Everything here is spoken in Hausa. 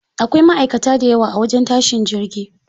Akwai ma'aikata dayawa a wajen tashin jirgi.